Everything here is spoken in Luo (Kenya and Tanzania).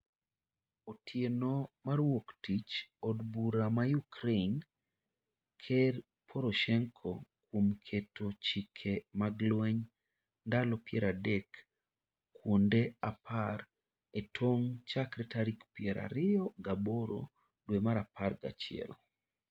Otieno mar wuok tich od bura ma Ukraine ker Poroshenko kuom keto chike mag lweny ndalo piero adek kuonde apar e tong' chakre tarik piere ariyo gi aboro dwe mar apar gi achiel.